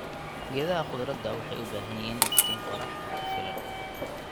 Geedaha khudrada waxay u baahan yihiin iftiin qorrax oo ku filan.